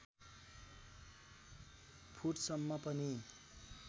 foot सम्म पनि